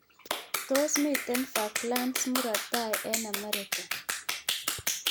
Tos' miten Falklands murot tai eng' Amerika